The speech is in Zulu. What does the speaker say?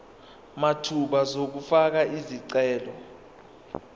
mathupha uzofaka isicelo